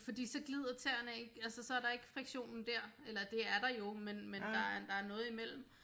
Fordi så glider tæerne ikke altså så er der ikke friktionen dér eller det er der jo men men der er der er noget imellem